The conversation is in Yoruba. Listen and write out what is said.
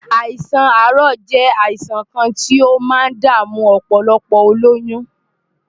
Àìsàn àárọ̀ jẹ́ àìsàn kan tí ó máa ń dààmú ọ̀pọ̀lọpọ̀ olóyún.